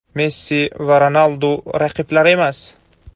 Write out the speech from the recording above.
Messi va Ronaldu – raqiblar emas.